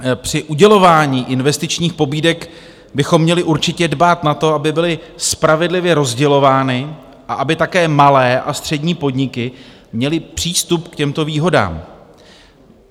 Při udělování investičních pobídek bychom měli určitě dbát na to, aby byly spravedlivě rozdělovány a aby také malé a střední podniky měly přístup k těmto výhodám.